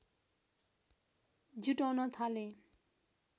जुटाउन थाले